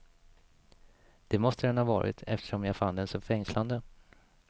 Det måste den ha varit, eftersom jag fann den så fängslande.